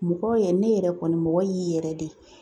Mɔgɔ yɛrɛ ne yɛrɛ kɔni mɔgɔ y'i yɛrɛ de